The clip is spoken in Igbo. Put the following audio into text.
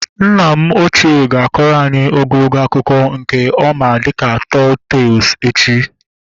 Nna m ochie ga-akọrọ anyị ogologo akụkọ nke a ma dịka tọl tees echi